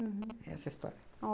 Aham. É essa a história.